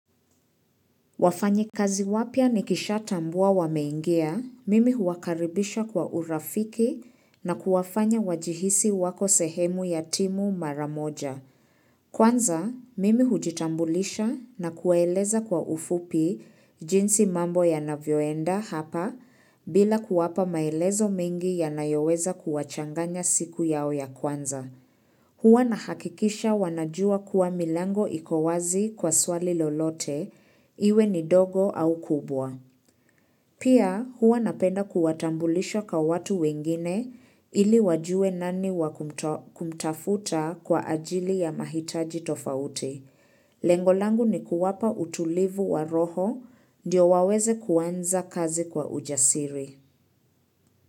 Wafanyikazi wapya nikisha tambua wameingia, mimi huwa karibisha kwa urafiki na kuwafanya wajihisi wako sehemu ya timu mara moja. Kwanza, mimi hujitambulisha na kuwaeleza kwa ufupi jinsi mambo yanavyoenda hapa bila kuwapa maelezo mingi yanayoweza kuwachanganya siku yao ya kwanza. Huwa nahakikisha wanajua kuwa milango iko wazi kwa swali lolote, iwe ni dogo au kubwa. Pia huwa napenda kuwatambulisha kwa watu wengine ili wajue nani wakumtafuta kwa ajili ya mahitaji tofauti. Lengo langu ni kuwapa utulivu wa roho, ndio waweze kuanza kazi kwa ujasiri.